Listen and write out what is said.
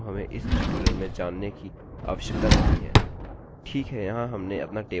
और हमारे पास यहाँ स्ववृद्धि है और साथ ही कुछ अन्य डेटा जिनको हमें इस टयूटोरियल में जानने की आवश्यकता नहीं है